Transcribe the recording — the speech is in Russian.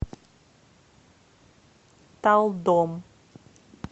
талдом